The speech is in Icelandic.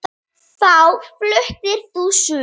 Þá fluttir þú suður.